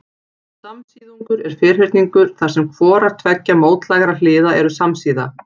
Samsíðungur er ferhyrningur þar sem hvorar tveggja mótlægra hliða eru samsíða.